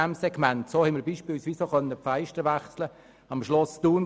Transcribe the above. So konnten wir zum Beispiel auch die Fenster im Schloss Thun auswechseln.